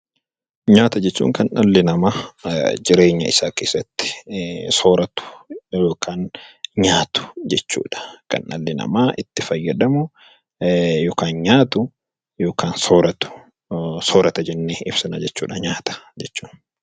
Nyaata jechuun kan dhalli namaa jireenya isaa keessatti sooratu, yookaan nyaatu jechuu dha. Kan dhalli namaa itti fayyadamu yookaan nyaatu yookaan sooratu soorata jennee ibsina jechuu dha Nyaata jechuun.